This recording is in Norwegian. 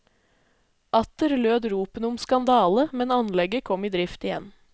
Atter lød ropene om skandale, men anlegget kom i drift igjen.